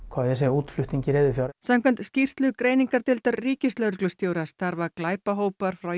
útflutningi reiðufjár samkvæmt skýrslu greiningardeildar ríkislögreglustjóra starfa glæpahópar frá